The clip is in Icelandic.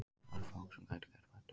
Það eru fáir sem gætu gert betur.